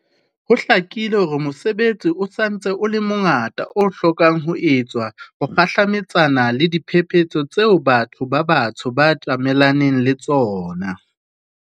Ho hlakile hore mosebetsi o sa ntse o le mongata o hlokang ho etsetswa ho kgahlametsana le diphephetso tseo batho ba batsho ba tjamelaneng le tsona.